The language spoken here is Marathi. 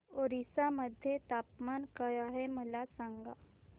ओरिसा मध्ये तापमान काय आहे मला सांगा